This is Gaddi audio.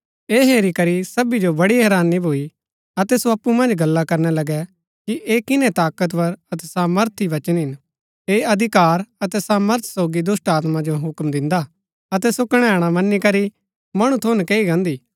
ऐह हेरी करी सभी जो बड़ी हैरानी भूई अतै सो अप्पु मन्ज गल्ला करना लगै कि ऐह किन्है ताकतवर अतै सामर्थी वचन हिन ऐह अधिकार अतै सामर्थ सोगी दुष्‍टात्मा जो हुक्म दिन्दा अतै सो कणैणा मन्‍नी करी मणु थऊँ नकैई गान्दी